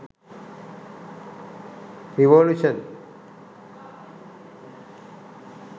revolution